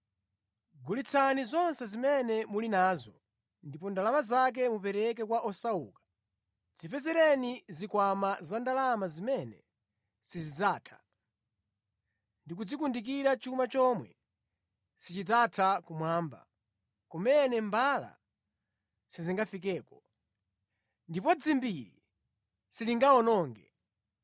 Gulitsani zonse zimene muli nazo, ndipo ndalama zake mupereke kwa osauka. Dzipezereni zikwama zandalama zimene sizidzatha, ndi kudzikundikira chuma chomwe sichidzatha kumwamba, kumene mbala sizingafikeko, ndipo dzimbiri silingawononge.